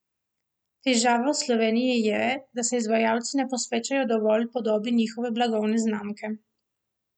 Težava v Sloveniji je, da se izvajalci ne posvečajo dovolj podobi njihove blagovne znamke.